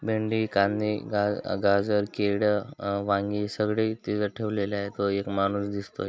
भेंडी कांदे गा-गाजर केळ अ-वांगी सगळे तिथ ठेवलेले आहेत व एक माणूस दिसतोय.